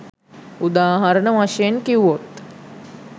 උදාහරණ වශයෙන් කිව්වොත්